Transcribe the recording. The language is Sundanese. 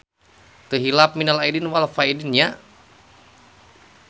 Teu hilap minal aidin wal faidzin nya.